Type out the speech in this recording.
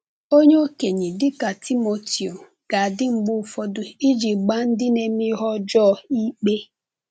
Onye okenye, dịka Timoteo, ga-adị mgbe ụfọdụ iji gbaa ndị na-eme ihe ọjọọ ikpe.